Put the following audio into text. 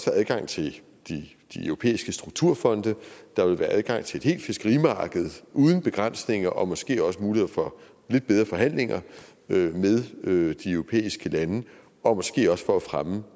adgang til de europæiske strukturfonde der ville være adgang til et helt fiskerimarked uden begrænsninger og måske også muligheder for lidt bedre forhandlinger med de europæiske lande og måske også for at fremme